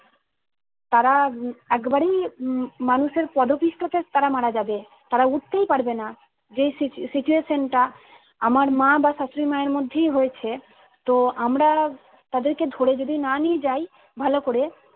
তারা উম একবারই উম মানুষের পদপিষ্ট তে তারা মারাযাবে তারা উঠতেই পারবেনা। যে সিচু situation টা আমার মা বা শাশুড়ি মায়ের মধ্যেই রয়েছে তো আমরা তাদেরকে ধরে যদি না নিয়ে যাই ভালো করে